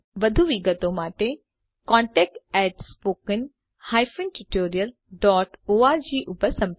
વધુ વિગતો માટે contactspoken tutorialorg ઉપર સંપર્ક કરો જોડાવા બદ્દલ આભાર